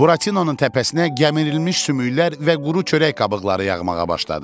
Buratinonun təpəsinə gəmirilmiş sümüklər və quru çörək qabıqları yağmağa başladı.